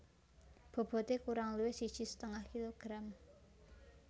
Bobote kurang luwih siji setengah kilogram